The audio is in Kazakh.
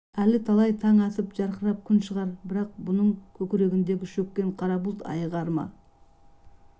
әлі талай таң атып жарқырап күн шығар бірақ бұның көкірегіндегі шөккен қара бұлт айығар ма